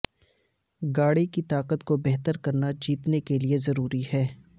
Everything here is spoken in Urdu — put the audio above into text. گاڑی کی طاقت کو بہتر کرنا جیتنے کے لیے ضروری ہے